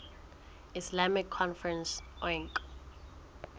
islamic conference oic